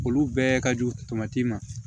Olu bɛɛ ka jugu ma